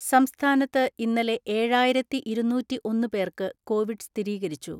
സംസ്ഥാനത്ത് ഇന്നലെ ഏഴായിരത്തിഇരുനൂറ്റിഒന്ന് പേർക്ക് കോവിഡ് സ്ഥിരീകരിച്ചു.